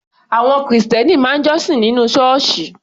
Àwọn Kìrìsìtẹ́ẹ́nì máa ń jọ́sìn nínú Ṣọ́ọ́ṣì